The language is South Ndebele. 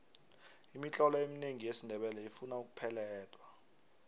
imitlolo eminengi yesindebele ifuna ukupeledwa